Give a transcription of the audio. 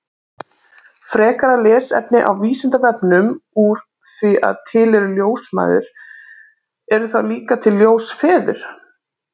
Frekara lesefni á Vísindavefnum Úr því að til eru ljósmæður, eru þá líka til ljósfeður?